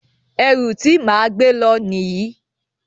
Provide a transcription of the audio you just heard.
Ẹrù ti máa gbé lọ nìyí.